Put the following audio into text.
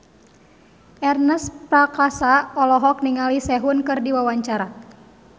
Ernest Prakasa olohok ningali Sehun keur diwawancara